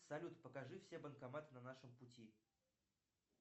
салют покажи все банкоматы на нашем пути